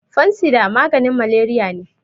fansida maganin malariya ne